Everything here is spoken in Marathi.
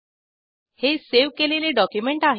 हे सावे केलेले डॉक्युमेंट आहे